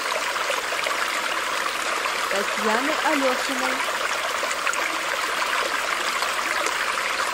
татьяны алешиной